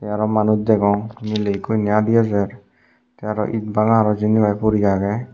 te aro manuj degong miley ekku indi adi adi ejer the aro ed bhanga aro jindi pai pori agey.